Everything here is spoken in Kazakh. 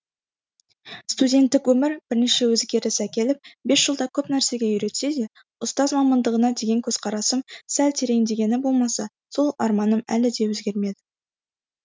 студенттік өмір бірнеше өзгеріс әкеліп бес жылда көп нәрсеге үйретсе де ұстаз мамандығына деген көзқарасым сәл тереңдегені болмаса сол арманым әлі де өзгермеді